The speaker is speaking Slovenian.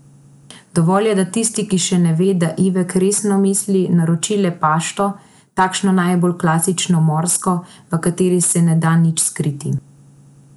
Dovolj je, da tisti, ki še ne ve, da Ivek resno misli, naroči le pašto, takšno najbolj klasično morsko, v kateri se ne da nič skriti.